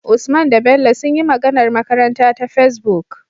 Usman da Bello sunyi magAnar makaranta ta Facebook